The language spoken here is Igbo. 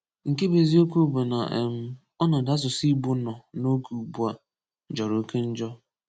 Nke bụ eziokwu bụ na um ọnọdụ asụsụ Igbo nọ n'oge ugbua jọrọ oke njọ